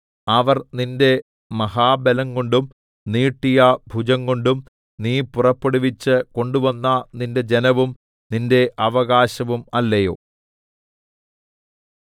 അവർ നിന്റെ മഹാബലംകൊണ്ടും നീട്ടിയ ഭുജംകൊണ്ടും നീ പുറപ്പെടുവിച്ച് കൊണ്ടുവന്ന നിന്റെ ജനവും നിന്റെ അവകാശവും അല്ലയോ